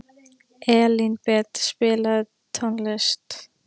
Elínbet, spilaðu tónlist.